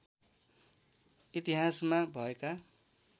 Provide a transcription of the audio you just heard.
इतिहासमा भएका